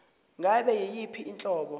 ngabe yiyiphi inhlobo